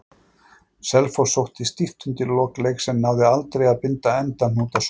Selfoss sótti stíft undir lok leiks en náði aldrei að binda endahnút á sóknirnar.